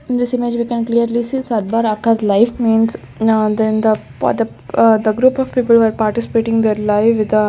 In this image we can clearly see aka life means now then the the group of people were participating the live with the--